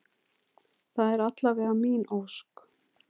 Það er alla vega mín ósk.